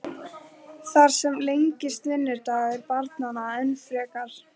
Þar með lengist vinnudagur barnanna enn frekar.